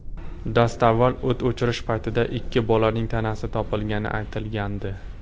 Dastavval o‘t o‘chirish paytida ikki bolaning tanasi topilgani aytilgandi.